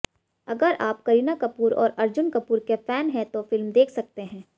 अगर आप करीना कपूर और अर्जुन कपूर के फैन हैं तो फिल्म देख सकते हैं